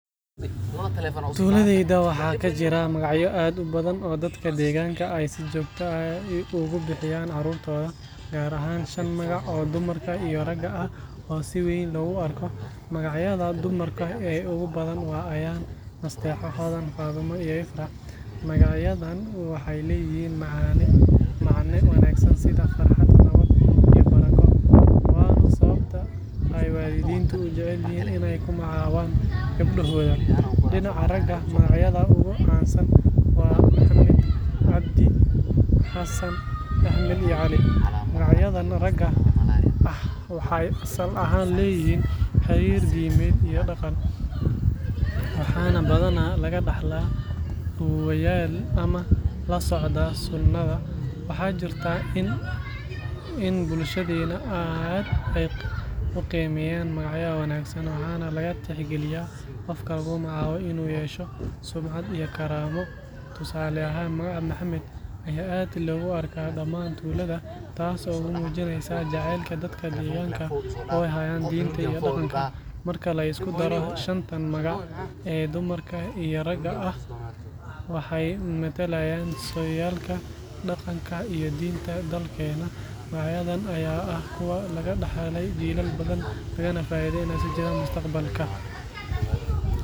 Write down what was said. Tuuladayda waxaa ka jira magacyo aad u badan oo dadka deegaanka ay si joogto ah ugu bixiyaan carruurtooda, gaar ahaan shan magac oo dumarka iyo ragga ah oo si weyn loogu arko. Magacyada dumarka ee ugu badan waa Ayaan, Nasteexo, Hodan, Fadumo iyo Ifraax. Magacyadan waxay leeyihiin macne wanaagsan sida farxad, nabad iyo barako, waana sababta ay waalidiintu u jecel yihiin in ay ku magacaabaan gabdhahooda. Dhinaca ragga, magacyada ugu caansan waa Maxamed, Cabdi, Xasan, Axmed iyo Cali. Magacyadan ragga ah waxay asal ahaan leeyihiin xiriir diimeed iyo dhaqan, waxaana badanaa laga dhaxlaa awoowayaal ama la socda sunnada. Waxaa jirta in bulshadeena ay aad u qiimeeyaan magaca wanaagsan, waxaana laga tixgeliyaa qofka lagu magacaabo inuu yeesho sumcad iyo karaamo. Tusa.